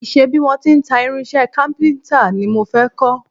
Ìṣe bí wọ́n ti ń ta irinṣẹ́ kápíntà ni mo fẹ́ kọ́